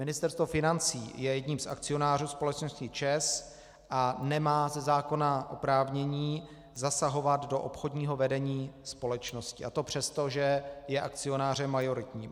Ministerstvo financí je jedním z akcionářů společnosti ČEZ a nemá ze zákona oprávnění zasahovat do obchodního vedení společnosti, a to přesto, že je akcionářem majoritním.